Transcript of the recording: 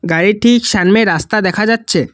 গাড়িটির সামনে রাস্তা দেখা যাচ্ছে।